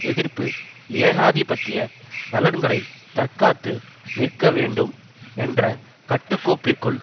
எதிர்ப்பு ஏகாதிபத்திய நலன்களை தற்காத்து நிற்க வேண்டும் என்ற கட்டு கோப்பிற்குள்